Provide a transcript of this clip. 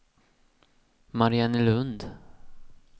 Mariannelund